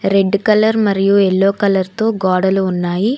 Red colour మరియు yellow colour తో గోడలు ఉన్నాయి.